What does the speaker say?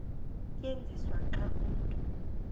tyenziswa xa umntu